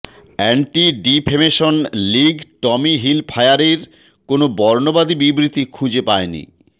anti defamation league Tommy হিলফায়ারের কোন বর্ণবাদী বিবৃতি খুঁজে পায়নি